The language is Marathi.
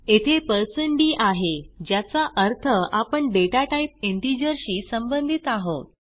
येथे d आहे ज्याचा अर्थ आपण डेटा टाईप इंटिजर शी संबंधित आहोत